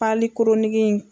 pali koronigi in